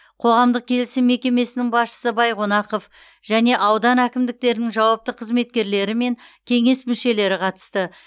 қоғамдық келісім мекемесінің басшысы байқонақов және аудан әкімдіктерінің жауапты қызметкерлері мен кеңес мүшелері қатысты